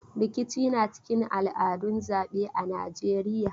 Rikici na cikin al'adun zaɓe a Najeiya.